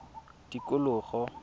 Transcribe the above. tikologo